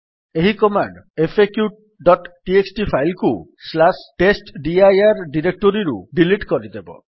ଏହି କମାଣ୍ଡ୍ faqଟିଏକ୍ସଟି ଫାଇଲ୍ କୁ testdir ଡିରେକ୍ଟୋରୀରୁ ଡିଲିଟ୍ କରିଦେବ